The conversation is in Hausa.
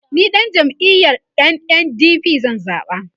ni ɗan jam'iyar NNDP zan zaɓa